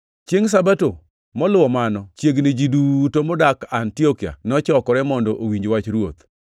Chiengʼ Sabato moluwo mano, chiegni ji duto modak Antiokia nochokore mondo owinj wach Ruoth.